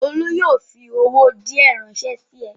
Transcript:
Olú yóò fi owó owó díẹ̀ ránṣẹ́ sí ẹ!